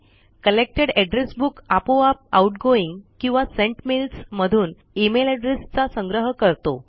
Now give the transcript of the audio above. collected address book आपोआप outgoing किंवा sent mails मधून इमेल एड्रेस चा संग्रह करतो